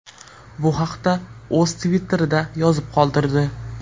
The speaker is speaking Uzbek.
Bu haqda u o‘z Twitter’ida yozib qoldirdi.